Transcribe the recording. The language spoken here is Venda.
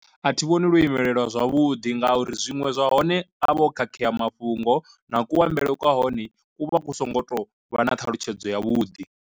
A thi vhoni lwo imelelwa zwavhuḓi nga uri zwiṅwe zwa hone a vha o khakhea mafhungo na kuambele kwa hone ku vha ku songo tou vha na ṱhalutshedzo ya vhuḓi.